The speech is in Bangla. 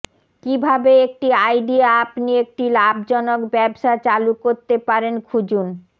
কিভাবে একটি আইডিয়া আপনি একটি লাভজনক ব্যবসা চালু করতে পারেন খুঁজুন